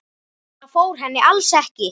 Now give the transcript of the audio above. Það fór henni alls ekki.